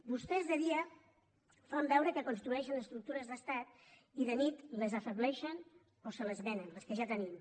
vostès de dia fan veure que construeixen estructures d’estat i de nit les afebleixen o se les venen les que ja tenim